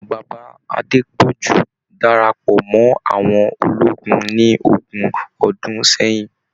Bàbá Adepọju darapọ̀ mọ́ àwọn ológun ní ogún ọdún sẹyìn.